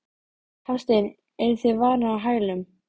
Eftirtektarvert er að stjórnir beggja félaganna taka umrædda ákvörðun.